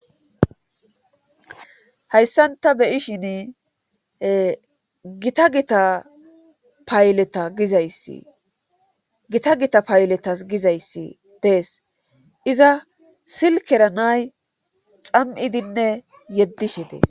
hayssanta beyishin gita gita payleta gizayssi gita gita payletas gizayssi dees iza silkera nay xam7idinne yeddishe dee